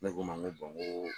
Ne k'u ma ni ko bɔn n ko